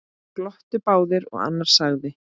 Glottu báðir og annar sagði